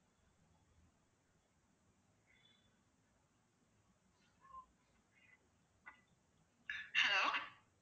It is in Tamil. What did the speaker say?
hello